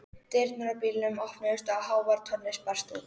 Dyrnar á bílnum opnuðust og hávær tónlist barst út.